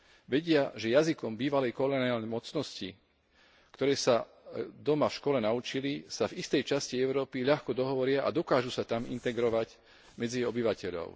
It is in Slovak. Vedia, že jazykom bývalej koloniálnej mocnosti, ktoré sa doma v škole naučili, sa v istej časti Európy ľahko dohovoria a dokážu sa tam integrovať medzi obyvateľov.